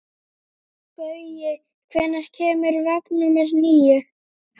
Gaui, hvenær kemur vagn númer níu?